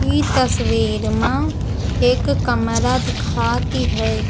ई तस्वीर मा एक कमरा दिखाती है।